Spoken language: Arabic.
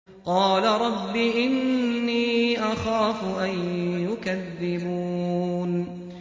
قَالَ رَبِّ إِنِّي أَخَافُ أَن يُكَذِّبُونِ